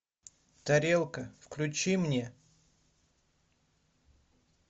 тарелка включи мне